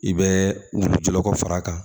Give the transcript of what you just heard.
I bɛ jɔlɔkɔ fara a kan